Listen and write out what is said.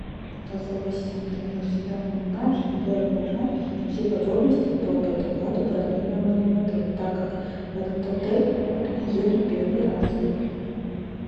голосовой ассистент ты мне всегда помогаешь и хотелось бы узнать все подробности про предоплату бронирования в отеле так как в этот отель еду первый раз